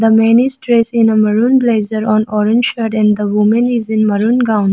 The man is dressed in a maroon blazer on orange shirt and the woman is in maroon gown.